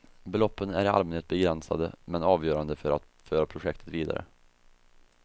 Beloppen är i allmänhet begränsade men avgörande för att föra projekten vidare.